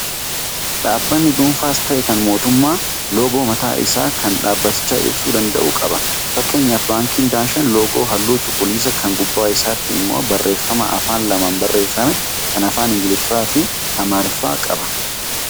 Dhaabbanni dhuunfaas ta'ee kan mootummaa loogoo mataa isaankan dhaabaticha ibsuu danda'u qaba. Fakkeenyaaf baankiin daashan loogoo halluu cuquliisaa kan gubbaa isaatii immoo barreeffama afaan lamaan barreeffame, kan afaan Ingiliffaa fi amaariffaa qaba.